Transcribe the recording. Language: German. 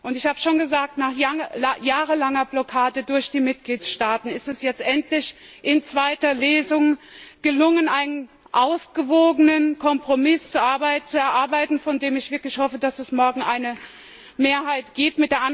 Ich habe es schon gesagt Nach jahrelanger Blockade durch die Mitgliedstaaten ist es jetzt endlich in zweiter Lesung gelungen, einen ausgewogenen Kompromiss zu erarbeiten, von dem ich wirklich hoffe, dass es morgen eine Mehrheit dafür gibt.